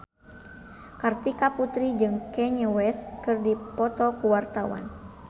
Kartika Putri jeung Kanye West keur dipoto ku wartawan